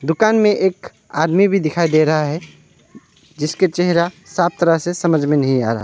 दुकान में एक आदमी भी दिखाई दे रहा है जिसके चेहरा साफ तरह से समझ में नहीं आ रहा है।